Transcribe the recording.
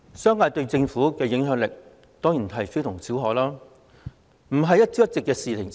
商界對政府的影響力當然非同小可，這不是一朝一夕的事情。